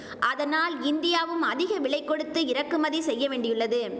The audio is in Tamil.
அதனால் இந்தியாவும் அதிக விலை கொடுத்து இறக்குமதி செய்ய வேண்டியுள்ளது